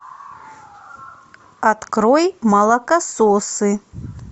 открой молокососы